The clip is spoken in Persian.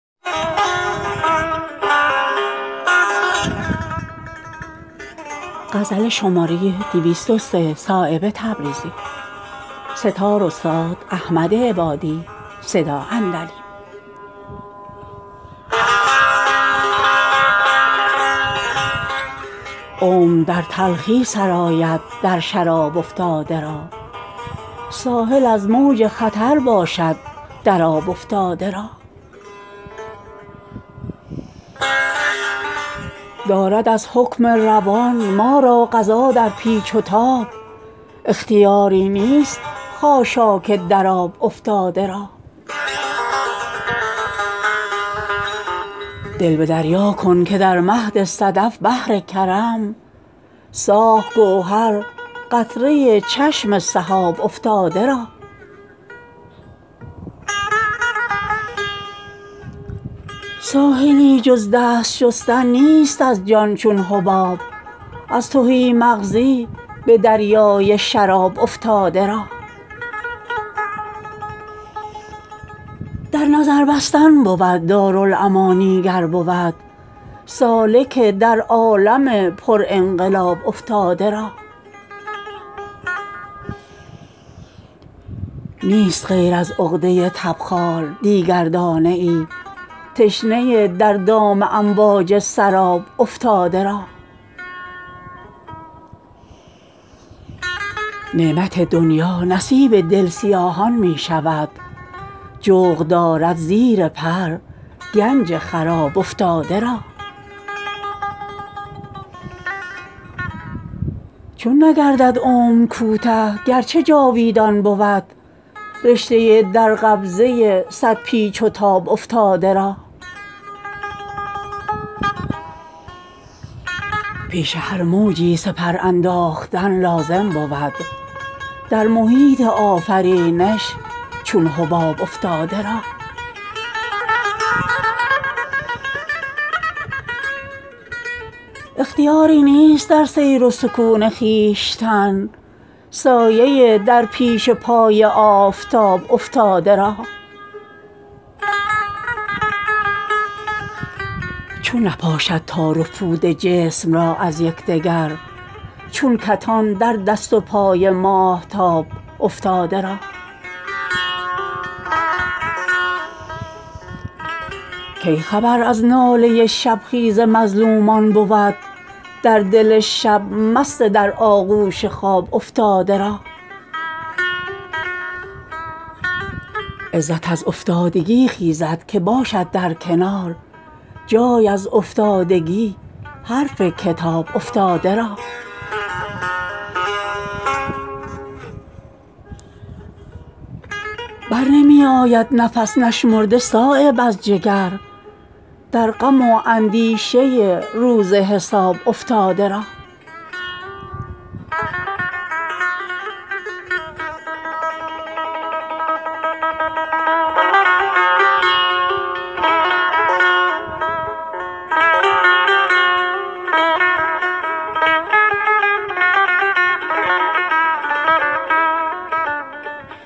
عمر در تلخی سرآید در شراب افتاده را ساحل از موج خطر باشد در آب افتاده را دارد از حکم روان ما را قضا در پیچ و تاب اختیاری نیست خاشاک در آب افتاده را دل به دریا کن که در مهد صدف بحر کرم ساخت گوهر قطره چشم سحاب افتاده را ساحلی جز دست شستن نیست از جان چون حباب از تهی مغزی به دریای شراب افتاده را در نظر بستن بود دارالامانی گر بود سالک در عالم پر انقلاب افتاده را نیست غیر از عقده تبخال دیگر دانه ای تشنه در دام امواج سراب افتاده را نعمت دنیا نصیب دل سیاهان می شود جغد دارد زیر پر گنج خراب افتاده را چون نگردد عمر کوته گرچه جاویدان بود رشته در قبضه صد پیچ و تاب افتاده را پیش هر موجی سپر انداختن لازم بود در محیط آفرینش چون حباب افتاده را اختیاری نیست در سیر و سکون خویشتن سایه در پیش پای آفتاب افتاده را چون نپاشد تار و پود جسم را از یکدگر چون کتان در دست و پای ماهتاب افتاده را کی خبر از ناله شبخیز مظلومان بود در دل شب مست در آغوش خواب افتاده را عزت از افتادگی خیزد که باشد در کنار جای از افتادگی حرف کتاب افتاده را برنمی آید نفس نشمرده صایب از جگر در غم و اندیشه روز حساب افتاده را